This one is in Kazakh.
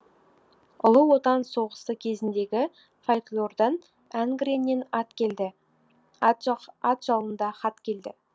ұлы отан соғысы кезіндегі фольклордан әнгреннен ат келді ат жалында хат келді